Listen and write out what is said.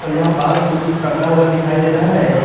यहां बास भी कुछ टंगा हुआ दिखाई दे रहा है।